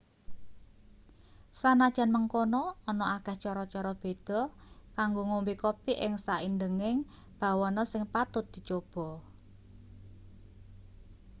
sanajan mengkono ana akeh cara-cara beda kanggo ngombe kopi ing saindeging bawana sing patut dicoba